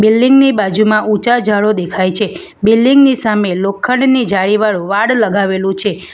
Building ની બાજુમાં ઊંચા ઝાડો દેખાય છે બિલ્ડીંગ ની સામે લોખંડની જાળીવાળું વાળ લગાવેલું છે.